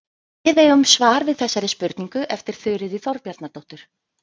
Við eigum svar við þessari spurningu eftir Þuríði Þorbjarnardóttur.